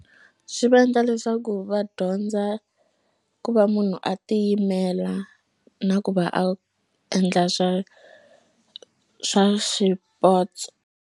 Swi va endla leswaku va dyondza ku va munhu a tiyimela na ku va a endla swa swa swipotso.